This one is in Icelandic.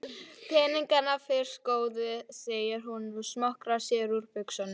Peningana fyrst góði, segir hún og smokrar sér úr buxunum.